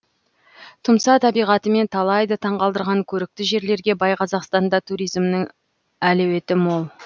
тұмса табиғатымен талайды таңғалдырған көрікті жерлерге бай қазақстанда туризмнің әлеуеті мол